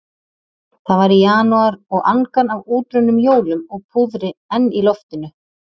Það var í janúar og angan af útrunnum jólum og púðri enn í loftinu.